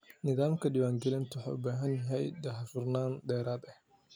Nidaamka diiwaangelintu wuxuu u baahan yahay daahfurnaan dheeraad ah.